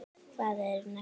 Hvað eru neglur?